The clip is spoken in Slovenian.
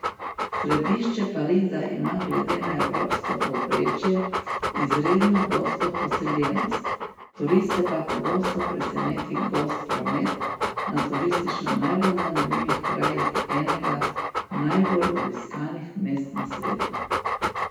Središče Pariza ima glede na evropsko povprečje izredno gosto poseljenost, turiste pa pogosto preseneti gost promet na turistično najbolj zanimivih krajih enega najbolj obiskanih mest na svetu.